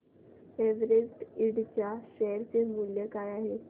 Everest Ind च्या share चे मूल्य काय आहे